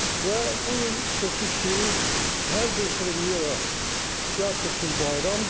Və bu gün sözsüz ki, hər bir premyera teatr üçün bayramdır.